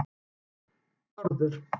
Bárður